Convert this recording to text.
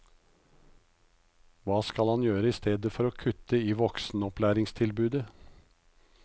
Hva skal han gjøre i stedet for å kutte i voksenopplæringstilbudet?